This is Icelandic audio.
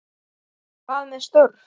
Hvað með störf?